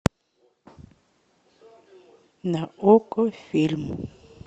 на окко фильм